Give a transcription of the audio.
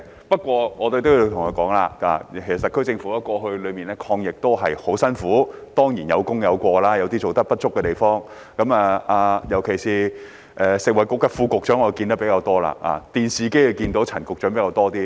不過，我也要說說，其實特區政府在過去的抗疫工作上也十分辛苦，當然有功有過，有做得不足的地方，尤其是食物及衞生局副局長，我比較常見到他，而陳局長則在電視機裏看到比較多。